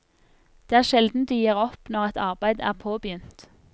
Det er sjelden de gir opp når et arbeid er påbegynt.